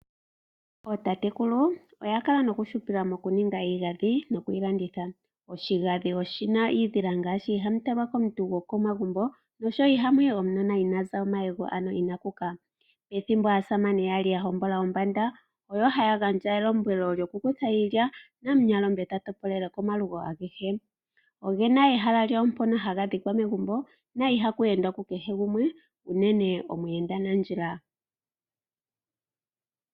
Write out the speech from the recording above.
Ootatekulu, oya kala nokuhupila mokuninga iigadhi noku yi landitha. Oshigadhi oshi na iidhila ngaashi, ihamu talwa komuntu go komagumbo noshowo iha mu yi omunona ina za omayego, ano ina kuka. Ethimbo aasamane ya li ya hombola ombanda, oyo haya gandja elombwelo lyokukutha iilya, namunyalombe ta topolele komalugo agehe. Oge na ehala lyawo mpono haga dhikwa megumbo na ihaku endwa ku kehe gumwe uunene omuyenda nandjila.